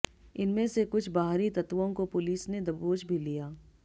इनमें से कुछ बाहरी तत्त्वों को पुलिस ने दबोच भी लिया